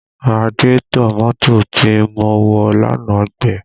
Radiétọ̀ mọ́tò tí mo wọ̀ lánàá gbẹ